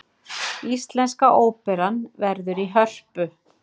Íslenska óperan verður í Hörpu